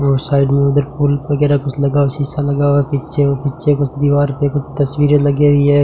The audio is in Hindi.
और साइड में उधर फूल वगैरह कुछ लगा हुआ शीशा लगा हुआ है पीछे और पीछे कुछ दीवार पे कुछ तस्वीरें लगी हुई है।